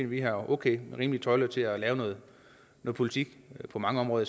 vi har okay og rimelige tøjler til at lave noget politik på mange områder